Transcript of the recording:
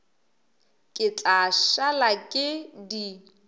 ke tla šala ke di